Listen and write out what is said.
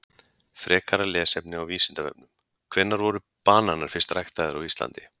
Frekara lesefni á Vísindavefnum: Hvenær voru bananar fyrst ræktaðir á Íslandi?